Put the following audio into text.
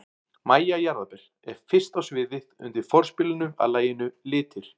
MÆJA JARÐARBER er fyrst á sviðið undir forspilinu að laginu Litir.